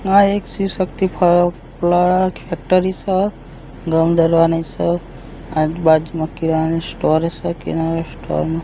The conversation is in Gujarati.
આ એક શિવ-શક્તિ ફેક્ટરી સ ઘઉં દરવાની સ આ બાજુમાં કિરાણા સ્ટોર સે કિરાણા સ્ટોર મા --